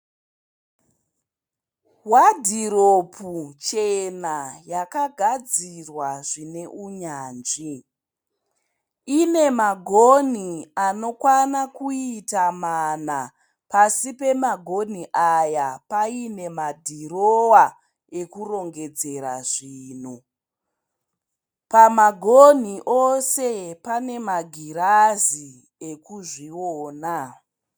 Wadhiropu chena yakagadzirwa zvine unyanzvi. Ine magonhi anokwana kuita mana. Pasi pemagonhi aya paine madhirowa ekurongedzera zvinhu. Pamagonhi ose pane magirazi ekuzviona